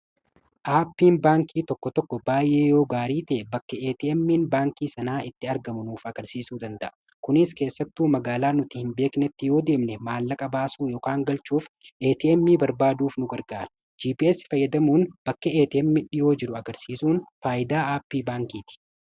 aapiin baankii tokko tokko baay’ee yoo gaarii te bakka etmin baankii sanaa itti argamanuuf agarsiisuu danda'a kunis keessattu magaalaa nuti hin beeknetti yoo deemne maanlaqa baasu ykn galchuuf ATM barbaaduuf nu gargaaru, gps fayyadamuun bakka ATM'n dhiyoo jiru agarsiisuun faayidaa aapii baankiiti.